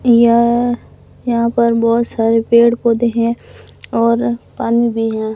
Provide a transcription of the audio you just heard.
यह यहां पर बहोत सारे पेड़ पौधे हैं और पानी भी है।